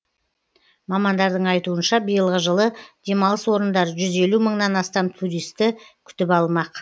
мамандардың айтуынша биылғы жылы демалыс орындары жүз елу мыңнан астам туристі күтіп алмақ